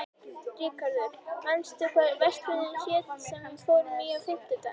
Ríkharður, manstu hvað verslunin hét sem við fórum í á fimmtudaginn?